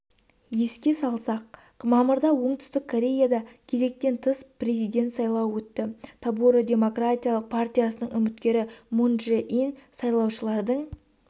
еске салсақ мамырда оңтүстік кореяда кезектен тыс президент сайлауы өтті тобуро демократиялық партиясынан үміткермун чжэ инсайлаушылардың